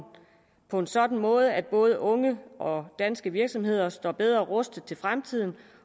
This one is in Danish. på en sådan måde at både unge og danske virksomheder står bedre rustet til fremtiden